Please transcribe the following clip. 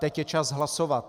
Teď je čas hlasovat.